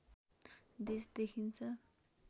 देश देखिन्छ